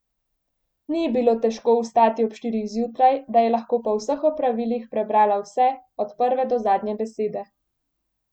Ni ji bilo težko vstati ob štirih zjutraj, da je lahko po vseh opravilih prebrala vse, od prve do zadnje besede.